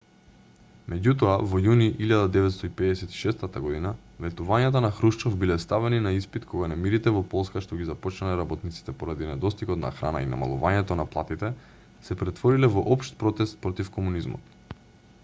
меѓутоа во јуни 1956 година ветувањата на хрушчов биле ставени на испит кога немирите во полска што ги започнале работниците поради недостигот на храна и намалувањето на платите се претвориле во општ протест против комунизмот